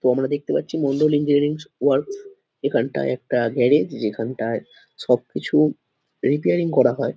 তো আমরা দেখতে পাচ্ছি মন্ডল ইঞ্জিনিয়ারিং ওয়ার্কস । এখানটায় একটা গ্যারেজ যেখানটায় সব কিছু রিপেয়ারিং করা হয়।